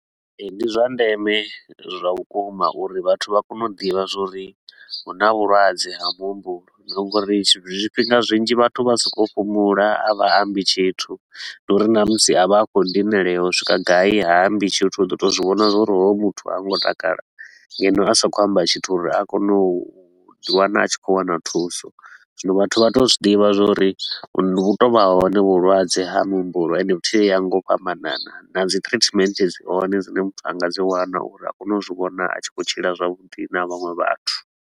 Ee, ndi zwa ndeme zwa vhukuma uri vhathu vha kone u ḓivha zwa uri hu na vhulwadze ha muhumbulo na nga uri zwifhinga zwinzhi vhathu vha so kou fhumula, a vha ambi tshithu. Ndi uri na musi a vha a khou dinalea u swika gai, ha ambi tshithu, u ḓo tou zwi vhona uri hoyu muthu ha ngo takala ngeno a sa khou amba tshithu uri a kone u ḓi wana a tshi khou wana thuso. Zwino vhathu vha tou zwi ḓivha zwa uri vhu tou vha hone vhulwadze ha muhumbulo ende futhi vho ya nga u fhambanana. Na dzi treatment dzi hone dzine muthu a nga dzi wana uri a kone u zwi vhona a tshi khou tshila zwavhuḓi na vhaṅwe vhathu.